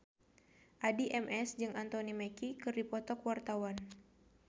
Addie MS jeung Anthony Mackie keur dipoto ku wartawan